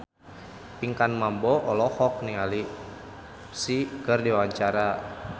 Pinkan Mambo olohok ningali Psy keur diwawancara